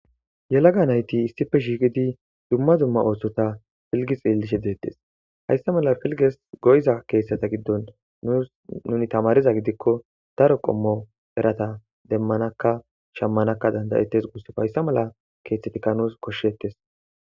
Yelaga nayti issife shiiqidi dumma zumma ooththota filgix ielishe deettes hayssa mala filges goyza keethtsata giddon us nuni tamariza gidikko daro qommo erata demmanakka shammanakka dandayettes gusse hayssa mala keeththetika nuus koshshettes.